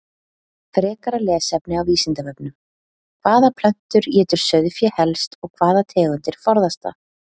Frekara lesefni á Vísindavefnum: Hvaða plöntur étur sauðfé helst og hvaða tegundir forðast það?